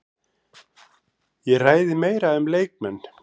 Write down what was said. Það er eitt vinsælasta ævintýri heimsins og til í ótal útgáfum.